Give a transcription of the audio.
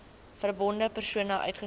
verbonde persone uitgesluit